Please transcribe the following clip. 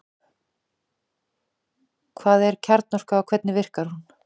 Hvað er kjarnorka og hvernig virkar hún?